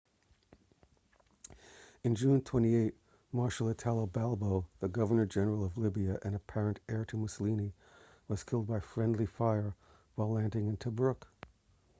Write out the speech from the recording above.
on june 28 marshal italo balbo the governor-general of libya and apparent heir to mussolini was killed by friendly fire while landing in tobruk